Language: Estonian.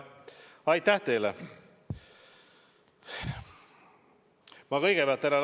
Aitäh teile!